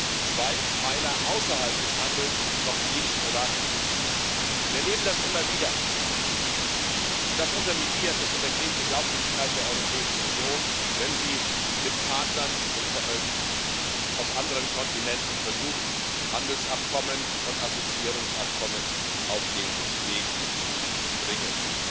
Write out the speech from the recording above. die zwei Pfeiler außerhalb des Handels noch nicht ratifiziert. Wir erleben das immer wieder, und das unterminiert, das untergräbt die Glaubwürdigkeit der Europäischen Union, wenn sie mit Partnern aus anderen Kontinenten versucht, Handelsabkommen und Assoziierungsabkommen auf den Weg zu bringen.